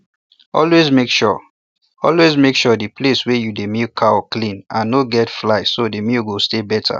always make sure always make sure the place wey you dey milk cow clean and no get fly so the milk go stay better